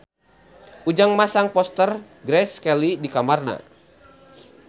Ujang masang poster Grace Kelly di kamarna